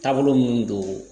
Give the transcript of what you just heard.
Taabolo minnu don